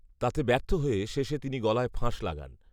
তাতে ব্যর্থ হয়ে শেষে তিনি গলায় ফাঁস লাগান